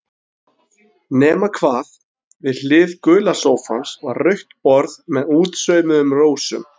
Nema hvað, við hlið gula sófans var rautt borð með útsaumuðum rósum.